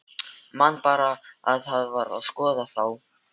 Man bara að hann var að skoða þá.